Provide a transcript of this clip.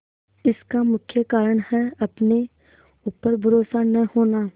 इसका मुख्य कारण है अपने ऊपर भरोसा न होना